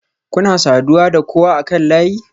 Kuna saduwa da kowa akan layi?